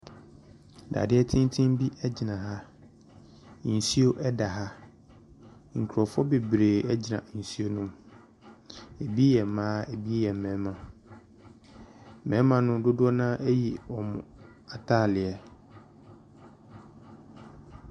Dadeɛ tenten bi gyina ha, nsuo da ha, nkurɔfoɔ bebree gyina nsuo ne mu, bi yɛ mmaa, bi yɛ mmarima. Mmarima no dodoɔ no ara ayi wɔn ataadeɛ.